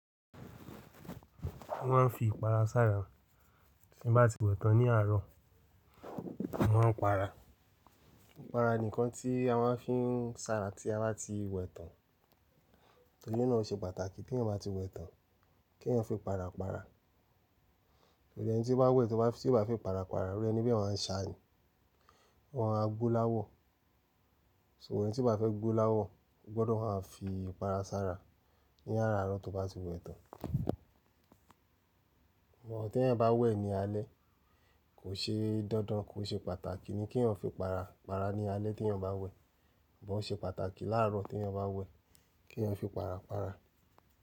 A máa ń fi ìpara sára tí nbá ti wẹ̀ tán ní àárọ̀, a máa ń para. Ìpara nìkan tí a máa ń fi ń sára tí a bá ti wẹ̀ tán. Tórì náà ò ṣe pàtàkì tẹ́yàń bá ti wẹ̀ tán kéyáń fi para para. Nítorí ẹni tí bá wẹ̀ tí ó bá, tí ó bá fí ípara para irú ẹ̀ni bẹ́ máa ń ṣàá ńí, ó ḿàá ḿàá gbó láwọ̀. So ẹni tí ó bá fẹ́ gbó láwọ̀ gbọ́dọ̀ máa ń fi ìpara sára ní àráárọ̀ tó bá ti wẹ̀ tán. Mo teyan bá wẹ̀ ní alé kò ṣe dandan, kò ṣe pàtàkì ni kí eyan fi para para ní alẹ́ tí eyan bá wẹ̀. Sugbọn o ṣe pàtàkì láàárọ̀ tí eyan bá wẹ̀ kí eyan fi para para.